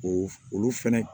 O olu fɛnɛ